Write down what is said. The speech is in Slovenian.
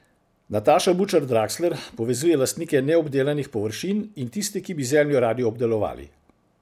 Nataša Bučar Draksler povezuje lastnike neobdelanih površin in tiste, ki bi zemljo radi obdelovali.